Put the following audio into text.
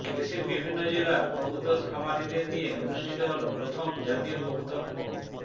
দেশের বিভিন্ন জেলার কবুতর খামারিদের নিয়ে অনুষ্ঠিত হলো প্রথম জাতীয় কবুতর প